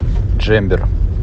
джембер